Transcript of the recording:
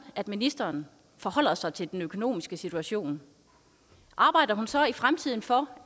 at ministeren forholder sig til den økonomiske situation arbejder hun så i fremtiden for